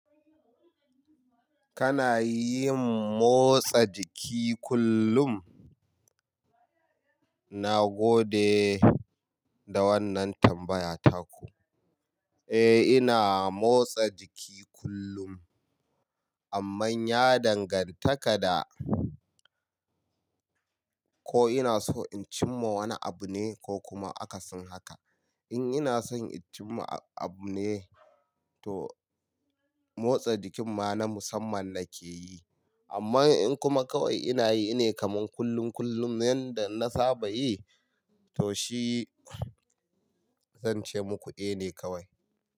Kana yin motsa jiki kullum? Na gode da wannan tambaya taku. Eh ina motsa jiki kullum, amman ya danganta kada ko ina so in cim ma wani abu ne ko kuma aka sin haka. In ina son in cim ma abu ne to motsa jikin ma na musamman nake yi. Amma in kuma kawai ina yi ne kaman kullum kullum yanda na saba yi to shi zan ce muku eh ne kawai.